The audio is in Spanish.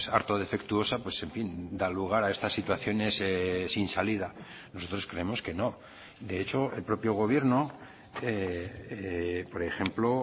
harto defectuosa pues en fin da lugar a estas situaciones sin salida nosotros creemos que no de hecho el propio gobierno por ejemplo